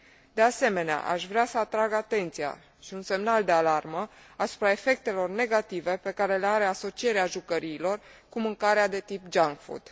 De asemenea, aș vrea să atrag atenția și un semnal de alarmă asupra efectelor negative pe care le are asocierea jucăriilor cu mâncarea de tip junk food.